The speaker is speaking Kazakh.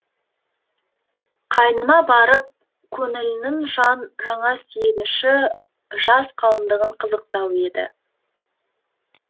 қайынына барып көңілінің жаңа сүйеніші жас қалыңдығын қызықтау еді